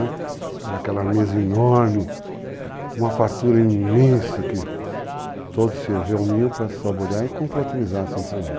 Aquela mesa enorme, uma fartura imensa que todos se reuniam para se saborear e confraternizar assim a família.